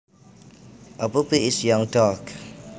A puppy is a young dog